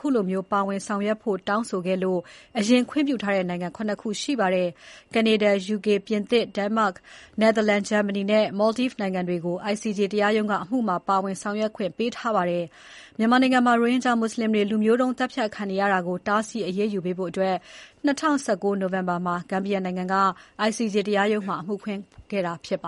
ခုလိုမျိုး ဒီအမှုမှာ ပါဝင်ဆောင်ရွက်ဖို့ တောင်းဆိုခဲ့လို့ အရင် ခွင့်ပြုထားတဲ့နိုင်ငံ ၇ နိုင်ငံ ရှိပါတယ်။ ကနေဒါ၊ ယူကေ၊ ပြင်သစ်၊ ဒိန်းမတ်၊ နယ်သာလန်၊ ဂျာမနီနဲ့ မော်လ်ဒိုက်နိုင်ငံတွေကို ICJ တရားရုံးက အမှုမှာ ပါဝင် ဆောင်ရွက်ခွင့်ပေးထားပါတယ်။ မြန်မာနိုင်ငံမှာ ရိုဟင်ဂျာမွတ်ဆလင်တွေ လူမျိုးတုံး သတ်ဖြတ်ခံနေရတာကို အရေးယူပေးဖို့ ၂၀၁၉ နိုဝင်ဘာလမှာ ဂမ်ဘီယာနိုင်ငံက ICJ တရားရုံးမှာ အမှုဖွင့်ခဲ့တာဖြစ်ပါ